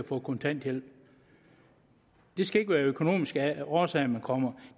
få kontanthjælp det skal ikke være af økonomiske årsager man kommer